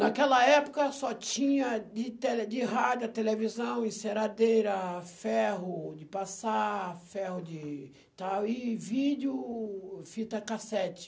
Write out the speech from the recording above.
Naquela época só tinha de tele, de rádio, televisão, enceradeira, ferro de passar, ferro de tal, e vídeo, fita cassete.